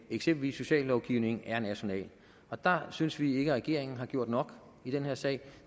eksempelvis sociallovgivningen er national og der synes vi ikke at regeringen har gjort nok i den her sag